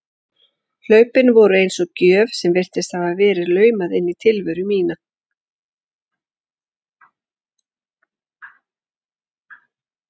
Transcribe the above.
Hlaupin voru eins og gjöf sem virtist hafa verið laumað inn í tilveru mína.